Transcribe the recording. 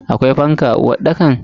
Akwai fanka a uwarɗakan?